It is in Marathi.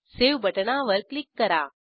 सावे बटणावर क्लिक करा